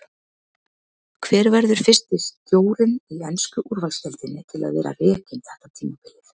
Hver verður fyrsti stjórinn í ensku úrvalsdeildinni til að vera rekinn þetta tímabilið?